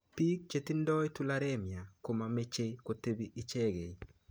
Piik chetindoi tularemia komameche kotepi ichekei